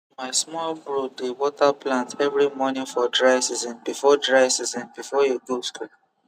my small bro dey water plants every morning for dry season before dry season before he go school